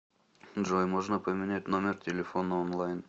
джой можно поменять номер телефона онлайн